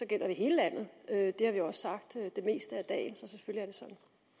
det hele landet det har vi også sagt det meste af dagen